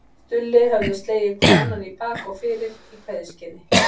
Stulli höfðu slegið hvor annan í bak og fyrir í kveðjuskyni.